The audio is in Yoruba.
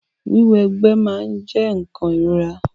Wíwọ egbé máa n jẹ nkan ìrora.